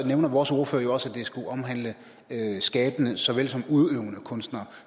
nævner vores ordfører jo også at det skulle omhandle skabende såvel som udøvende kunstnere